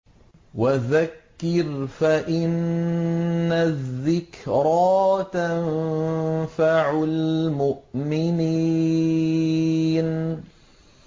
وَذَكِّرْ فَإِنَّ الذِّكْرَىٰ تَنفَعُ الْمُؤْمِنِينَ